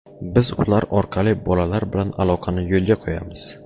Biz ular orqali bolalar bilan aloqani yo‘lga qo‘yamiz.